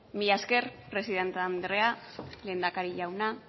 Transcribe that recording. mila esker presidente andrea lehendakari jauna